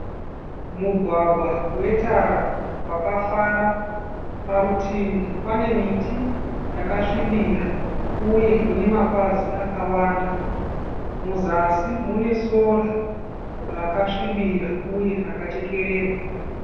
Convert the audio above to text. Mugwagwa wetara wakafara, parutivi pane miti yakasvibira uye inemapazi akawanda muzasi mune sora rakasvibira uye rakachekererwa.